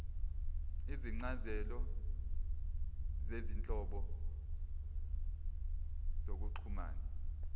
izincazelo zezinhlobo zokuxhumana